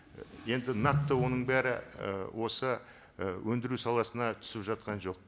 енді нақты оның бәрі і осы і өндіру саласына түсіп жатқан жоқ